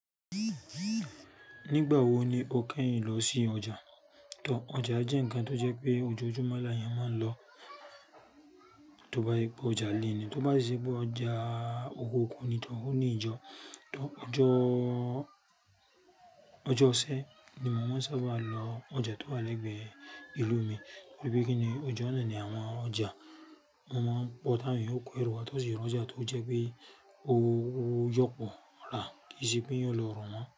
Nígbà wo ni o kẹ́yìn lọ sí ọjà? Tò, ọjà jẹ́ ǹnkan tó jẹ́ pé ojoojúmọ́ l'àwọn èèyàn máa ń lọ. Tóbá jẹ́ pé ọjà ilé ni tó bá sì ṣe ọjà òkùnkùn ni to o ni ijo tò ọjọ́, ọjọ́ ọ̀sẹ́ ni mo máa ń sábà lọ ọjà tó wà lẹ́gbẹ̀ẹ́ ìlú mi. Torí pé kíni ọjọ́ ná ni àwọn ọjà. Wọ́n máa ń pọ̀ tàwọn èèyàn yóò kó ẹro wá tó sì ro ọjà tó jẹ́ pé ó yọ̀pọ̀ ra ke e se pé èèyàn ó lọ rọ̀ wọ́n.